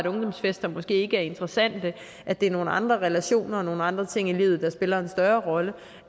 ungdomsfester måske ikke er interessante at det er nogle andre relationer og nogle andre ting i livet der spiller en større rolle